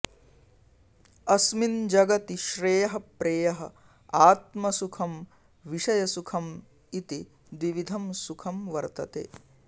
अस्मिन् जगति श्रेयः प्रेयः आत्मसुखं विषयसुखम् इति द्विविधं सुखं वर्तते